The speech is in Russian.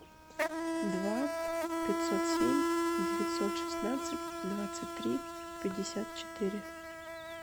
два пятьсот семь девятьсот шестнадцать двадцать три пятьдесят четыре